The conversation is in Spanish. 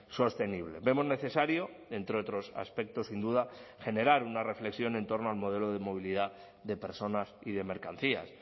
sostenible vemos necesario entre otros aspectos sin duda generar una reflexión en torno al modelo de movilidad de personas y de mercancías